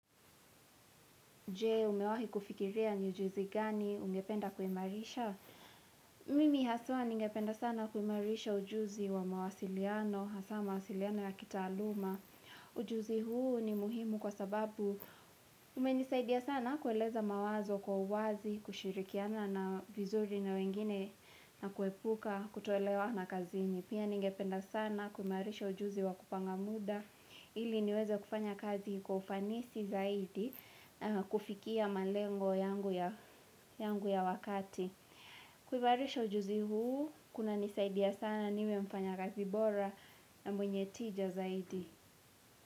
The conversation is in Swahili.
Je umewahi kufikiria ni ujuzi gani ungependa kuimarisha? Mimi haswa ningependa sana kuimarisha ujuzi wa mawasiliano, hasa mawasiliano ya kitaaluma. Ujuzi huu ni muhimu kwa sababu umenisaidia sana kueleza mawazo kwa uwazi, kushirikiana na vizuri na wengine na kuepuka kutuoelewa na kazini. Pia ningependa sana kumarisha ujuzi wa kupanga muda ili niwezo kufanya kazi kufanisi zaidi na kufikia malengo yangu ya yangu ya wakati. Kuimarisha ujuzi huu kuna nisaidia sana niwe mfanya kazi bora na mwenye tija zaidi.